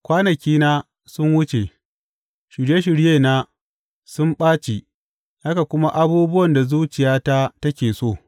Kwanakina sun wuce, shirye shiryena sun ɓaci haka kuma abubuwan da zuciyata take so.